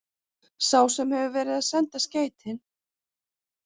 Sá sem hefur verið að senda skeytin.